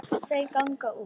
Þau ganga út.